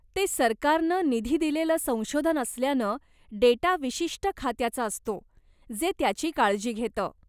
ते सरकारनं निधी दिलेलं संशोधन असल्यानं डेटा विशिष्ट खात्याचा असतो, जे त्याची काळजी घेतं.